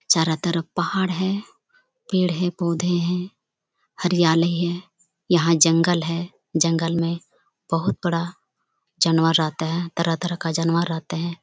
चारो तरफ पहाड़ है पेड़ है पौधे है हरियाली है यहाँ जंगल है जंगल में बहुत बड़ा जानवर रहते है तरह तरह के जानवर रहते है।